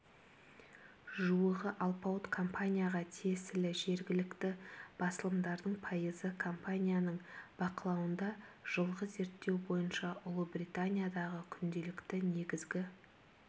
жуығы алпауыт компанияға тиесілі жергілікті басылымдардың пайызы компанияның бақылауында жылғы зерттеу бойынша ұлыбританиядағы күнделікті негізгі